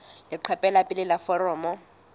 leqephe la pele la foromo